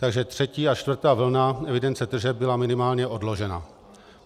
Takže třetí a čtvrtá vlna evidence tržeb byla minimálně odložena.